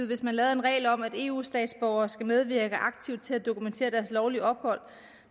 hvis man lavede en regel om at eu statsborgere skal medvirke aktivt til at dokumentere deres lovlige ophold